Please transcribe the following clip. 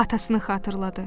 Atasını xatırladı.